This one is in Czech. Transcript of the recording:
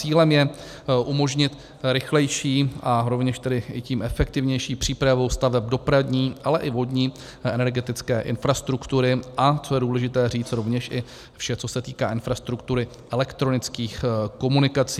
Cílem je umožnit rychlejší, a rovněž tedy tím efektivnější přípravu staveb dopravní, ale i vodní a energetické infrastruktury, a co je důležité říct, rovněž i vše, co se týká infrastruktury elektronických komunikací.